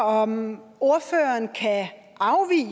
om ordføreren kan afvise at